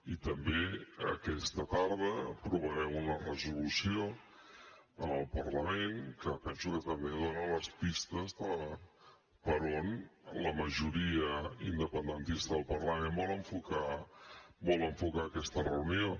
i també aquesta tarda aprovarem una resolució en el parlament que penso que també dona les pistes de per on la majoria independentista del parlament vol enfocar aquesta reunió